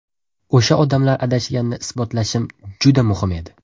O‘sha odamlar adashganini isbotlashim juda muhim edi.